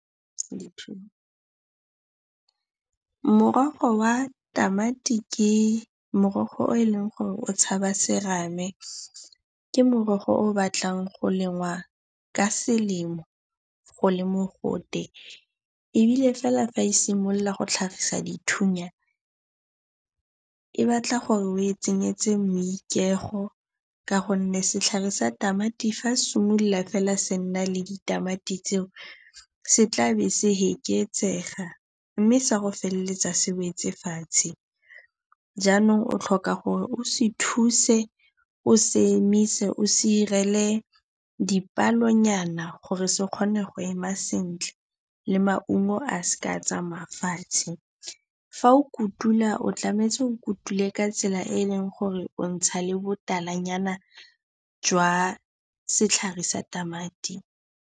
Morogo wa tamati ke morogo o e leng gore o tshaba serame. Ke morogo o o batlang go lengwa ka selemo go le mogote, ebile fela fa e simolola go tlhagisa dithunya e batla gore o e tsenyetse moikeego ka gonne setlhare sa tamati fa se simolola fela se nna le ditamati tseo, se tlabe se fekeetsega mme se ya go feleletsa se wetse fatshe. Jaanong o tlhoka gore o se thuse o se emise, o se direle dipalenyana gore se kgone go ema sentle le maungo a seka a tsamaya fa fatshe. Fa o kotula, o tshwanetse o kotule ka tsela e e leng gore o ntsha le botalanyana jwa setlhare sa tamati.